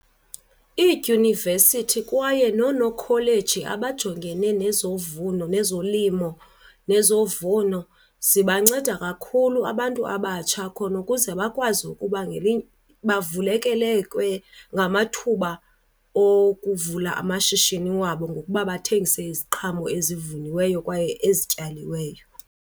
Iidyunivesithi kwaye nonokholeji abajongene nezovuno nezolimo nezovuno zibanceda kakhulu abantu abatsha khona ukuze bakwazi ukuba bavulekelekwe ngamathuba okuvula amashishini wabo ngokuba bathengise iziqhamo ezivuniweyo kwaye ezityaliweyo.